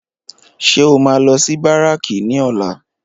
Ṣé o máa lọ sí báràkì ní ọ̀la?